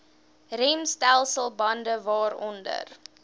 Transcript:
remstelsel bande waaronder